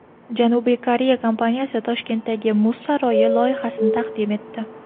Janubiy Koreya kompaniyasi Toshkentdagi muz saroyi loyihasini taqdim etdi .